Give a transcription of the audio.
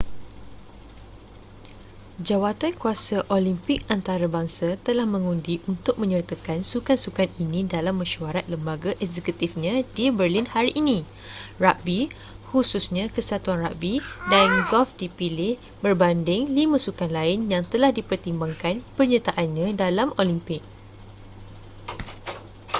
jawatankuasa olimpik antarabangsa telah mengundi untuk menyertakan sukan-sukan ini dalam mesyuarat lembaga eksekutifnya di berlin hari ini ragbi khususnya kesatuan ragbi dan golf dipilih berbanding lima sukan lain yang telah dipertimbangkan penyertaannya dalam olimpik